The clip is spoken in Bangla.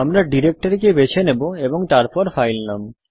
আমরা ডিরেক্টরিকে বেছে নেব এবং তারপর ফাইল নাম